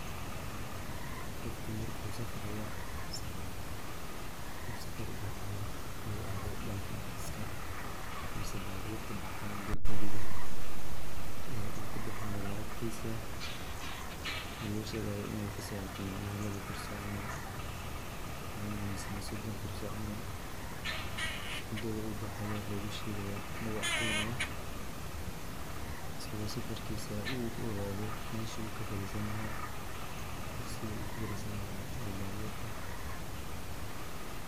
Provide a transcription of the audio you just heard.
Qofka marku safraya mase uu safar ubaxaya uu aado dhanka baska mase baburta baxaan gabarida uu kubixi lahay lacagtiisa lona shegaayo inay kaso harte macnaha laba kursi camal, wana mise sodon kursi camal, mudada uu baxayo aya luguu shegaya lugu cadeynaya asago safarkiisa u aado meshu kafariisan laha, kursigu kufariisan laha ee baburka